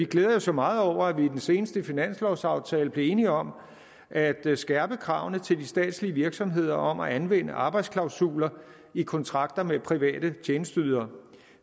glæder os jo meget over at vi i den seneste finanslovsaftale blev enige om at skærpe kravene til de statslige virksomheder om at anvende arbejdsklausuler i kontrakter med private tjenesteydere